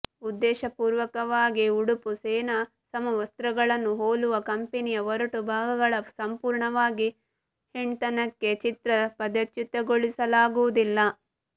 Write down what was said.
ಉದ್ದೇಶಪೂರ್ವಕವಾಗಿ ಉಡುಪು ಸೇನಾ ಸಮವಸ್ತ್ರಗಳನ್ನು ಹೋಲುವ ಕಂಪೆನಿಯ ಒರಟು ಭಾಗಗಳ ಸಂಪೂರ್ಣವಾಗಿ ಹೆಣ್ತನಕ್ಕೆ ಚಿತ್ರ ಪದಚ್ಯುತಗೊಳಿಸಲಾಗುವುದಿಲ್ಲ